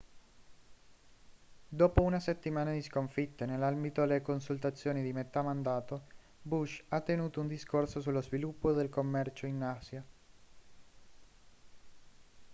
dopo una settimana di sconfitte nell'ambito delle consultazioni di metà mandato bush ha tenuto un discorso sullo sviluppo del commercio in asia